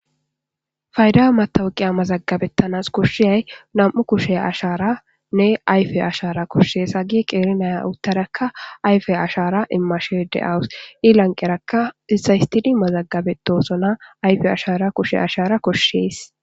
fayda matawuqiya mazagabettanas koshshiyay nam7u kushe ashaara nne ayfe ashara koshshees hagi qeeinaya uttarakka ayfe ashara imashe de7awus iilanqerakka isaystidi mazagabetosona ayfe ashara kushe ashara koshshees